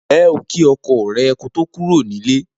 Ǹjé̩ o kí o̩ko̩ rè̩ kí o tó kúrò nílé?